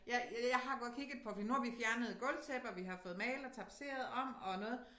Ja jeg har godt kigget på fordi nu har vi fjernet gulvtæppe og vi har fået malet og tapetseret om og noget